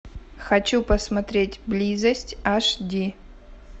хочу посмотреть близость аш ди